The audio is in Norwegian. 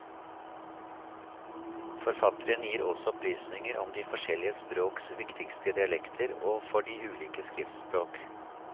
Forfatteren gir også opplysninger om de forskjellige språks viktigste dialekter og for de ulike skriftspråk.